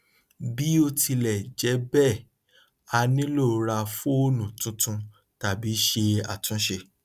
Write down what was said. bí ó tilẹ jẹ bẹẹ a nílò rá fóònù tuntun tàbí ṣe àtúnṣe